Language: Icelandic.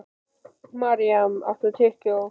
Maríam, áttu tyggjó?